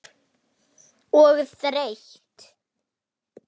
Og þreytt.